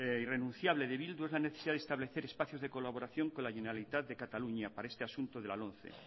irrenunciable de bildu es la necesidad de establecer espacios de colaboración con la generalitat de cataluña para este asunto de la lomce